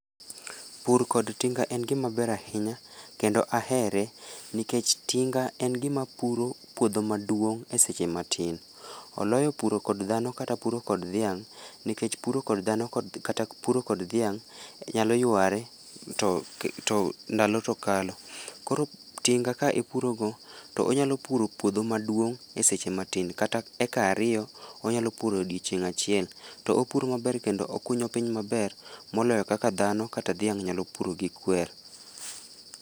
Pur kod tinga en gimaber ahinya kendo ahere nikech tinga en gima puro puodho maduong' e seche matin, oloyo puro kod dhano kata puro kod dhiang' nikech puro kod dhano kata puro kod dhiang' nyalo yware to ndalo to kalo. Koro tinga ka ipurogo to onyalo puro puodho maduong' e seche matin kata e eka ariyo onyalo puro odiechieng' achiel to puro maber kendo okunyo piny maber moloyo kaka dhano kata dhiang' nyalo puro gi kwer.